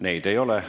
Neid ei ole.